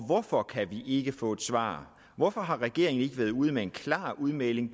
hvorfor kan vi ikke få et svar hvorfor har regeringen ikke været ude med en klar udmelding